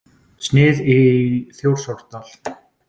Snið í Þjórsárdal.